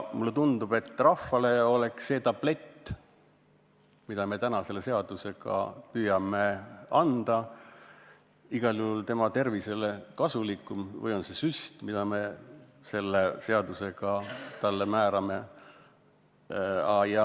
Mulle tundub, et rahvale oleks see tablett, mida me täna selle seadusega püüame neile anda, igal juhul kasulikum – või see süst, mida me neile selle seadusega püüame määrata.